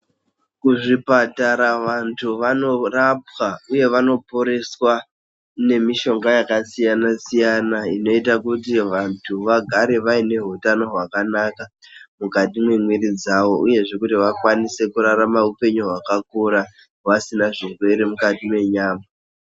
Kuzvipatara vantu vanorapwa uye vanoporeswa nemishonga yakasiyanasiyana, inoita kuti vantu vagare vaine hutano hwakanaka mukati mwemiri dzawo uyezve kuti vakwanise kurarama upenyu hwakakura vasina zvirwere mukati mwenyama.